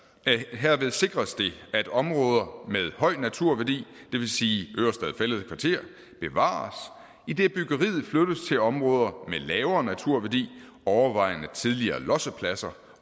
herved sikres det at områder med høj naturværdi det vil sige ørestad fælled kvarter bevares idet byggeriet flyttes til områder med lavere naturværdi overvejende tidligere lossepladser